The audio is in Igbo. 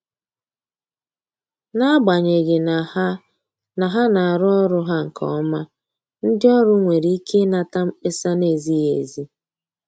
N’agbanyeghị na ha na ha na arụ ọrụ ha nke ọma, ndị ọrụ nwere ike inata mkpesa na-ezighi ezi.